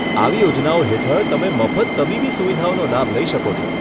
આવી યોજનાઓ હેઠળ તમે મફત તબીબી સુવિધાઓનો લાભ લઈ શકો છો.